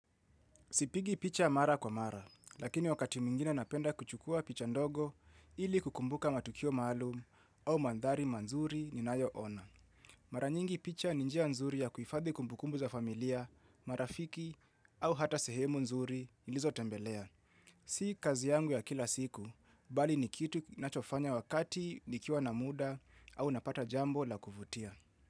Sipigi picha mara kwa mara, lakini wakati mingine napenda kuchukua picha ndogo ili kukumbuka matukio maalum au mandhari manzuri ni nayo ona. Maranyingi picha ninjia nzuri ya kuifadhi kumbukumbu za familia, marafiki au hata sehemu nzuri nilizo tembelea. Si kazi yangu ya kila siku, bali nikitu nachofanya wakati nikiwa na muda au napata jambo la kuvutia.